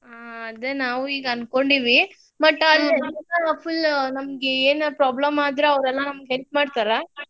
ಹಾ ಅದೇ ನಾವು ಈಗ ಅನ್ಕೊಂಡಿವಿ but ಅಲ್ಲೇ full ನಮಿಗೆ ಏನಾರೆ problem ಆದ್ರ್ ಅವ್ರೆಲ್ಲಾ help ಮಾಡ್ತಾರಾ?